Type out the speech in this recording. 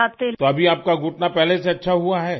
تو ابھی آپ کا گھٹنا پہلے سے اچھا ہو اہے؟